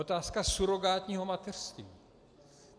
Otázka surogátního mateřství.